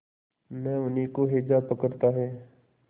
न उन्हीं को हैजा पकड़ता है